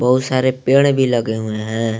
बहुत सारे पेड़ भी लगे हुए हैं।